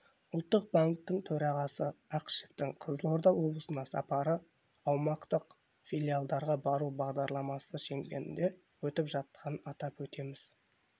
ұлттық банктің төрағасы ақышевтың қызылорда облысына сапары аумақтық филиалдарға бару бағдарламасы шеңберінде өтіп жатқанын атап өтеміз